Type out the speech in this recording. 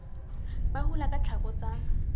ba hula ka tlhako tsa